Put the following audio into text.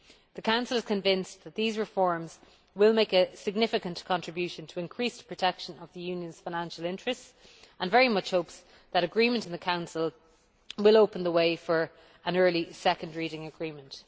The Council is convinced that these reforms will make a significant contribution to increased protection of the Union's financial interests and very much hopes that agreement in the Council will open the way for an early second reading agreement.